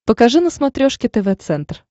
покажи на смотрешке тв центр